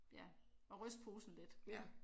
Ja at ryste posen lidt